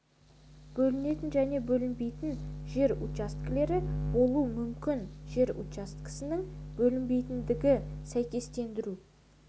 бөлінетін және бөлінбейтін жер учаскелері болуы мүмкін жер учаскесінің бөлінбейтіндігі сәйкестендіру